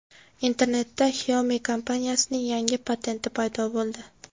Internetda Xiaomi kompaniyasining yangi patenti paydo bo‘ldi.